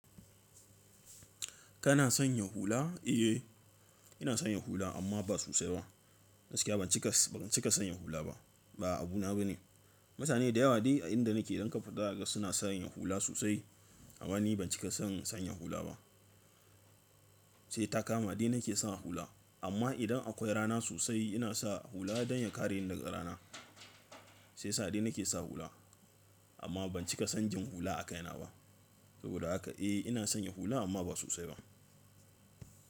Kana sanya hula? Eh, ina sanya hula amma ba sosai ba. Gaskiya ban cika cika sanya hula ba. Ba abu na bane. Mutane da yawa dai a inda nake idan ka fita zakaga suna sanya hula sosai amma ni ban cika son sanya hula ba. Sai ta kama dai nake sa hula. Amma idan akwai rana sosai ina sa hula don ya kare ni daga rana. Shiya sa dai nake sa hula amma ban cika son jin hula aka yana ba. Saboda haka eh ina sanya hula amma ba sosai ba.